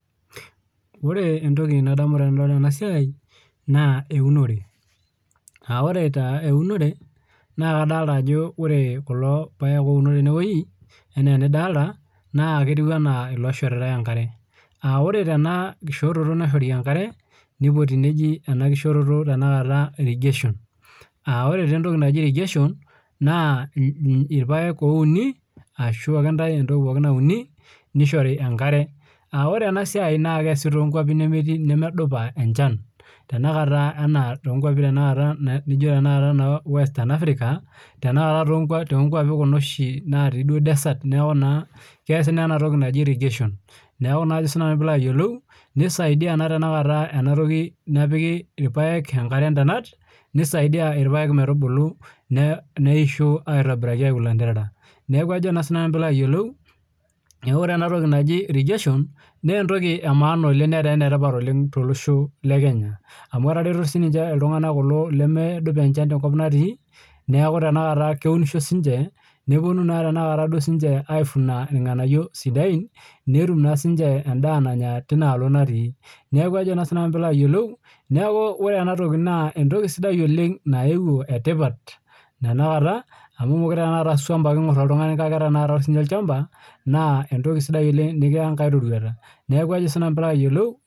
Ore entoki nadamu tenadol ena siai naa eunore. Orr taa eunore naa kadolita ajo ore kulo paek oouno tenwueji enaa enidolita naa ketiu enaa iloishoritai enkare. Ore tena kishoroto naishori enkare, nipoti neji enakishoroto irrigation. Ore taa entoki naji irrigation naa irpaek ouni ashu ake intae entoki pookin nauni nishori enkare. Ore ena siai naa keesi toonkwapi nemedupa enchan tenakata, toonkwapi tenakata naijo saai western Africa tenakata toonkwapi kuna oshi duo desert neeku naa enatoki naji irrigation. Neeku naa ajo siinanu piilo ayiolou isaidia naa tenakata enatoki enepiki irpaek enkare indonat, neisaidia irpaek metubulu, neisho aitobiraki aiu ilanterera. Neeku ajo naa siinanu piilo ayiolou, neeku ore enatoki naji irrigation, naa entoki emaana oleng netaa enetipat olen tolosho le Kenya amu etareto siininche iltung'anak kulo lemedupa enchan tenkop natii neeku tenakata keunisho siininche nepwonu tenakata duo siininche aifuna irng'anayiok sidain netum naa siininche endaa nanya tinaalo natii. Neeku ajo naa siinanu piilo ayilolou ore ena toki naa entoki sidai oleng naewuo etipat tenakata amu meekure aa swam ake eing'urr oltung'ani kake ore siininye olchamba naa entoki nekiya enkae rorwata. Neeku ajo siinanu piilo ayiolou